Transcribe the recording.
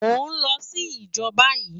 Mò n lò si ijò bàyi